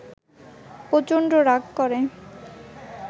প্রচণ্ড রাগ করে